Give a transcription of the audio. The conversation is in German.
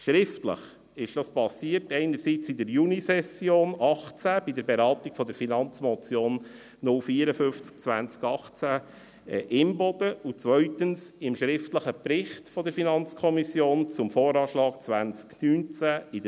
Schriftlich erfolgte dies einerseits in der Junisession 2018 bei der Beratung Finanzmotion 054-2018 Imboden (FM/MF 054-2018) und zweitens in der Novembersession 2018, im schriftlichen Bericht der FiKo zum Voranschlag (VA) 2019.